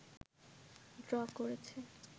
draw করেছে